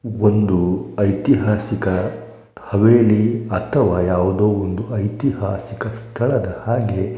ಒಂದು ಐತಿಹಾಸಿಕ ಹವೇಲಿ ಅಥವಾ ಯಾವುದೋ ಒಂದು ಐತಿಹಾಸಿಕ ಸ್ಥಳದ ಹಾಗೆ--